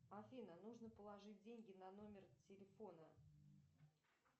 афина нужно положить деньги на номер телефона